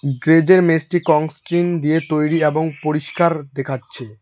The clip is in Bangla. গ্রেজ -এর মেসটি কংস্ট্রিং দিয়ে তৈরি এবং পরিষ্কার দেখাচ্ছে।